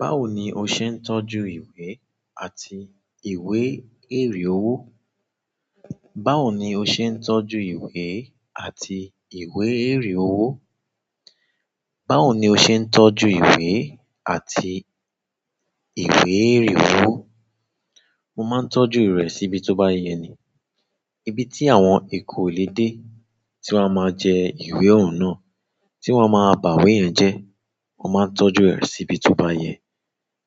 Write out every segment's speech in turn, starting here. Báwo ni o ṣe ń tọ́jú ìwé àti ìwé èrì owó? Báwo ni o ṣe ń tọ́jú ìwé àti ìwé èrì owó? Báwo ni o ṣe ń tọ́jú ìwé àti ìwé èrì owó? Mo máa ń tọ́jú rẹ̀ síbi tó bá yẹ ni. Ibi tí àwọn eku ò lè dé, tí wọ́n a máa jẹ ìwé òun náà, tí wọ́n a máa bá ìwé yẹn jẹ. Mo máa ń tọ́jú rẹ̀ síbi tó bá yẹ.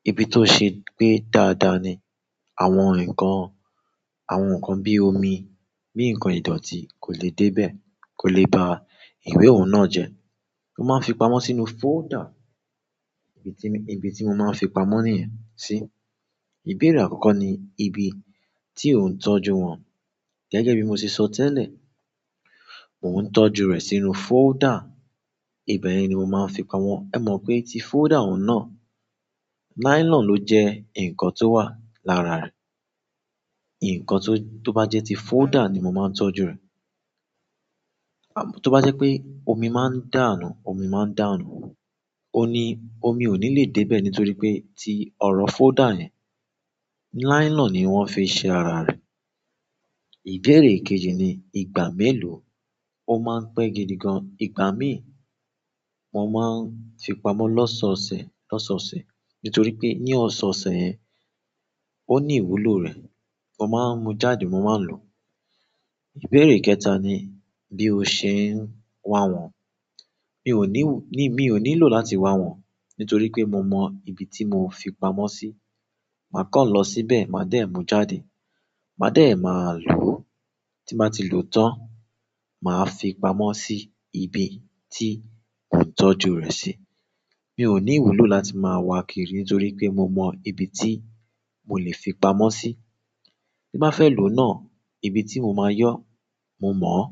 Ibi tó ṣe gbé dáadáa ni. Àwọn nǹkan, àwọn nǹkan bí omi, bí nǹkan ìdọ̀tí kò lè dé bẹ́ẹ̀, kò lè ba ìwé òun náà jẹ́. Mo máà fi pamọ́ sínú folder ibi tí mo máa fi pamọ́ niyẹn si. Ìbéèrè àkọ́kọ́ ni ibi tí ò ń tọ́jú wọn. Gẹ́gẹ́ bíi mo sé ṣo tẹlẹ mo ń tọ́jú rẹ sínú folder. Ibẹ̀ ni mo máa ń fi pamọ́. Ẹmọ pé ti folder un náà, nylon lo jẹ nkán to wà lára rẹ nǹkan tó bá jẹ́ ti folder ni mo máa ń tọ́jú rẹ̀. Tó bá jẹ́ pé omi máa ń dànù, omi máa ń dànù. Omí o ni lè dé bẹ nítorí pé ti ọrọ folder yẹ nylon ni wọn fi ṣe ará rẹ. Ìbéèrè kejì ni ìgbà mélòó. Ó máa ń pẹ́ gidi gan. Ìgbà míì mo máa ń fi pamọ́ lọ́sọ̀ọ̀sẹ̀, lọ́sọ̀ọ̀sẹ̀. Nítorí pé ní ọ̀sọ̀ọ̀sẹ̀ yẹn, ó ní ìwúlò rẹ̀. Mo máa mú jáde, mo máa lò ó. Ìbéèrè kẹta ni bí o ṣe ń wa wọ́n. Mi ò ní, mi ò ní lo láti wa wọ́n. Nítorí pé mo mọ ibi tí mo fi pamọ́ sí. Màá kàn lọ̀ síbẹ̀, màá dẹ̀ mú jáde. Màá dẹ̀ máa lò ó. Tí n bàá ti lò ó tán, màá fi pamọ́ sí ibí tí mò ń tọ́jú rẹ̀ sí. Mi ò ní ìwúlò láti máa wa kiri nítorí pé mo mọ ibi tí mò lè fi pamọ́ sí. Tí n bàá fẹ́ lò ó náà, ibi tí mo máa yọ, mo mọ̀ ọ́.